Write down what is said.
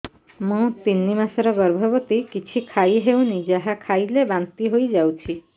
ମୁଁ ତିନି ମାସର ଗର୍ଭବତୀ କିଛି ଖାଇ ହେଉନି ଯାହା ଖାଇଲେ ବାନ୍ତି ହୋଇଯାଉଛି